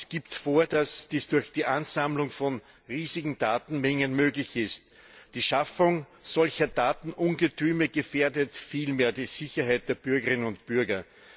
Es gibt vor, dass dies durch die Ansammlung von riesigen Datenmengen möglich ist. Die Schaffung solcher Datenungetüme gefährdet vielmehr die Sicherheit der Bürgerinnen und Bürger.